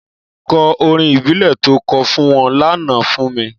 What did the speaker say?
Kò órín ìbílè tó kò fún wòn lànã fún mi